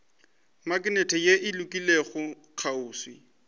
maknete ye e lokologilego kgauswi